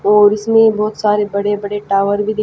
और इसमें बहोत सारे बड़े बड़े टावर भी दि--